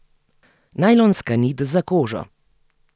Najlonska nit za kožo.